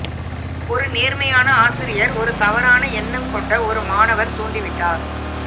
ஒரு நேர்மையான ஆசிரியர் ஒரு தவறான எண்ணம் கொண்ட ஒரு மாணவர் தூண்டிவிட்டார்